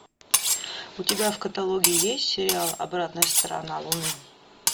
у тебя в каталоге есть сериал обратная сторона луны